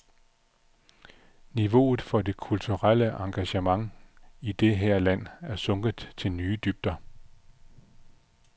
Niveauet for det kulturelle engagement i det her land er sunket til nye dybder.